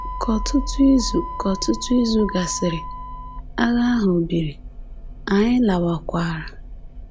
Ka ọtụtụ izu Ka ọtụtụ izu gasịrị, agha ahụ biri, anyị lawakwara.